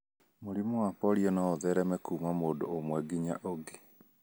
Mũrimũ wa polio no ũthereme kuuma mũndũ ũmwe nginya ũngĩ.